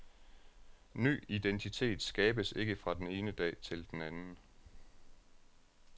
Ny identitet skabes ikke fra den ene dag til den anden.